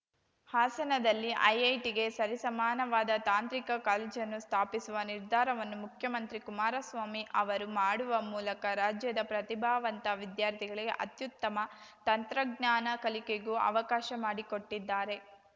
ಹಾಸನದಲ್ಲಿ ಐಐಟಿಗೆ ಸರಿಸಮಾನವಾದ ತಾಂತ್ರಿಕ ಕಾಲೇಜನ್ನು ಸ್ಥಾಪಿಸುವ ನಿರ್ಧಾರವನ್ನು ಮುಖ್ಯಮಂತ್ರಿ ಕುಮಾರಸ್ವಾಮಿ ಅವರು ಮಾಡುವ ಮೂಲಕ ರಾಜ್ಯದ ಪ್ರತಿಭಾವಂತ ವಿದ್ಯಾರ್ಥಿಗಳಿಗೆ ಅತ್ಯುತ್ತಮ ತಂತ್ರಜ್ಞಾನ ಕಲಿಕೆಗೂ ಅವಕಾಶ ಮಾಡಿಕೊಟ್ಟಿದ್ದಾರೆ